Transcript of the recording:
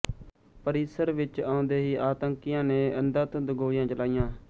ਪਰਿਸਰ ਵਿੱਚ ਆਉਂਦੇ ਹੀ ਆਤੰਕੀਆਂ ਨੇ ਅੰਧਾਧੁੰਦ ਗੋਲੀਆਂ ਚਲਾਈਆਂ